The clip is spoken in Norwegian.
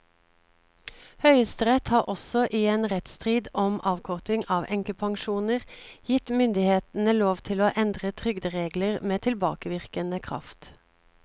Høyesterett har også i en rettsstrid om avkorting av enkepensjoner gitt myndighetene lov til å endre trygderegler med tilbakevirkende kraft.